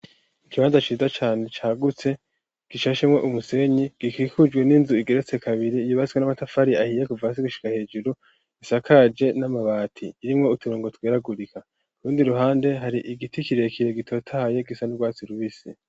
Ikibanza ciza cane cagutse gishashemwo umusenyi gikikujwe n'inzu igeretse kabiri, yubatswe n'amatafari ahiye kuva hasi gushika hejuru isakaje n'amabati irimwo uturongo tweragurika. Urundi ruhande hari igiti kire kire gitotahaye gisa n'urwatsi rubisi.